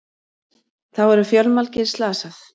Þá eru fjölmargir slasað